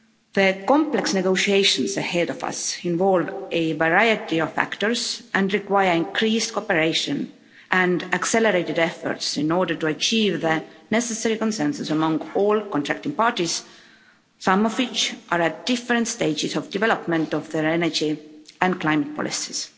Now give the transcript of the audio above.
The complex negotiations ahead of us involve a variety of factors, and require increased cooperation, and accelerated efforts, in order to achieve the necessary consensus among all contracting parties, some of which are at different stages of development of their energy and climate policies.